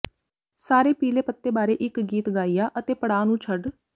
ਸਾਰੇ ਪੀਲੇ ਪੱਤੇ ਬਾਰੇ ਇੱਕ ਗੀਤ ਗਾਇਆ ਅਤੇ ਪੜਾਅ ਨੂੰ ਛੱਡ